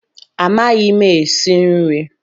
Amaghị m esi nri